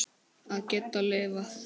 Að geta lifað.